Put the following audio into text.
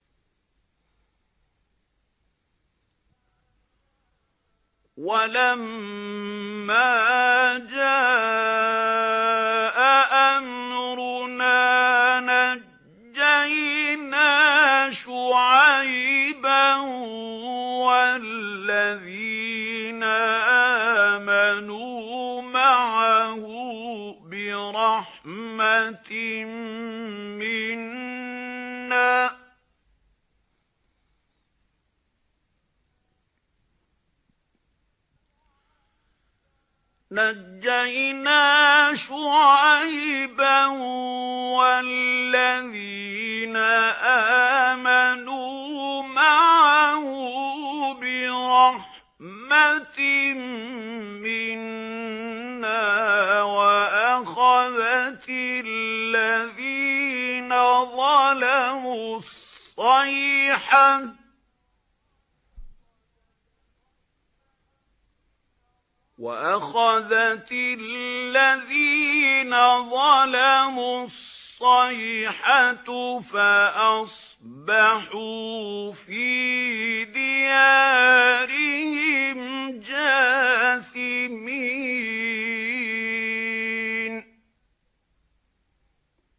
وَلَمَّا جَاءَ أَمْرُنَا نَجَّيْنَا شُعَيْبًا وَالَّذِينَ آمَنُوا مَعَهُ بِرَحْمَةٍ مِّنَّا وَأَخَذَتِ الَّذِينَ ظَلَمُوا الصَّيْحَةُ فَأَصْبَحُوا فِي دِيَارِهِمْ جَاثِمِينَ